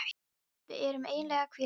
Við erum eiginlega að hvíla okkur.